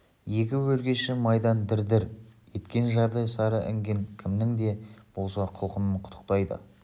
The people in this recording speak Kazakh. екі өркеші майдан дір-дір еткен жардай сары інген кімнің де болса құлқынын қытықтайды